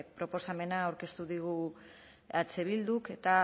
proposamena aurkeztu digu eh bilduk eta